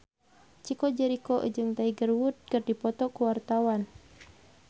Chico Jericho jeung Tiger Wood keur dipoto ku wartawan